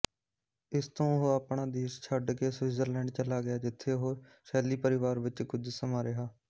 ਇਸਤੋਂ ਉਹ ਆਪਣਾ ਦੇਸ਼ ਛੱਡਕੇ ਸਵਿਟਜਰਲੈਂਡ ਚਲਿਆ ਗਿਆ ਜਿੱਥੇ ਉਹ ਸ਼ੈਲੀ ਪਰਵਾਰ ਵਿੱਚ ਕੁੱਝ ਸਮਾਂਰਿਹਾ